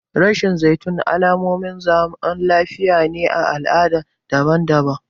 Reshen zaitun alamomin zaman lafiya ne a al'adu daban-daban.